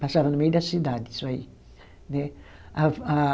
Passava no meio da cidade, isso aí né. A a